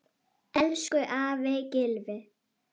Elsku afi Gylfi.